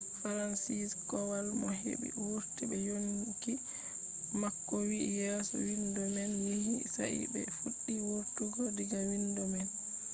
fransizek kowal mo heɓi wurti be yonki mako wi yeso windo man yewi sai ɓe fuɗɗi wurtugo diga windo man.